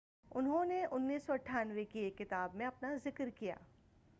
انھوں نے 1998ء کی ایک کتاب میں اپنا ذکر کیا